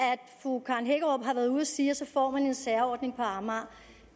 fru karen hækkerup har været ude at sige at så får man en særordning på amager